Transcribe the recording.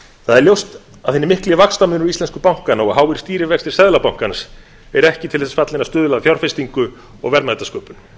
það er ljóst að hinn mikli vaxtamunur íslensku bankanna og háir stýrivextir seðlabankans eru ekki til þess fallnir að stuðla að fjárfestingu og verðmætasköpun